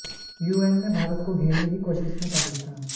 UN में भारत को घेरने की कोशिश में पाकिस्तान